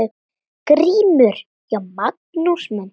GRÍMUR: Já, Magnús minn!